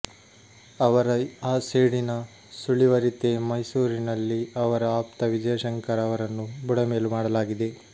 ಅವರ ಆ ಸೇಡಿನ ಸುಳಿವರಿತೇ ಮೈಸೂರಿನಲ್ಲಿ ಅವರ ಆಪ್ತ ವಿಜಯಶಂಕರ ಅವರನ್ನು ಬುಡಮೇಲು ಮಾಡಲಾಗಿದೆ